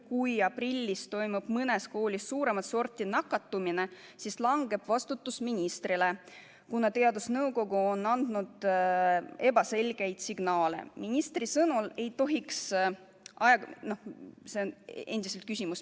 Kui aprillis toimub mõnes koolis suuremat sorti nakatumine, siis langeb vastutus ministrile, kuna teadusnõukoda on andnud ebaselgeid signaale.